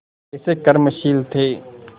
कैसे कर्मशील थे